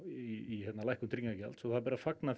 í lækkun tryggingagjalds og því ber að fagna